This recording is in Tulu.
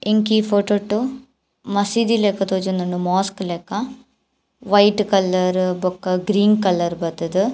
ಎಂಕೀ ಫೊಟೊ ಟು ಮಸೀದಿ ಲಕ ತೋಜೊಂದುಂಡು ಮೋಸ್ಕ್ ಲಕ ವೈಟ್ ಕಲರ್ ಬೊಕ್ಕ ಗ್ರೀನ್ ಕಲರ್ ಬತ್ತುದು.